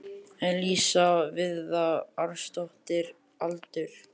Elísa Viðarsdóttir Aldur?